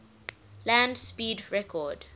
land speed record